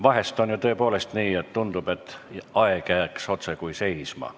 Vahest on ju tõepoolest nii, et tundub, nagu aeg jääks otsekui seisma.